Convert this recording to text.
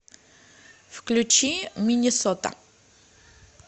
включи миннесота